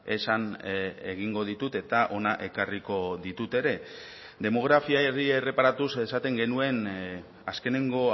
esan egingo ditut eta hona ekarriko ditut ere demografiari erreparatuz esaten genuen azkeneko